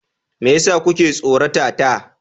Me yasa kuke tsorata ta?